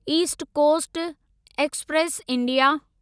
east coast express India